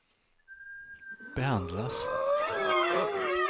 behandlas